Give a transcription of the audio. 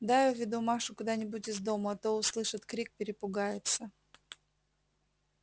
дай уведу машу куда-нибудь из дому а то услышит крик перепугается